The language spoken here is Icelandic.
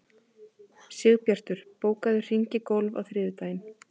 Sigbjartur, bókaðu hring í golf á þriðjudaginn.